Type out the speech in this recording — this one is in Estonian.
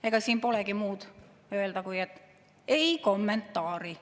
Ega siin polegi muud öelda, kui et "ei kommentaari".